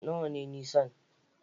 Nawa ne nisan?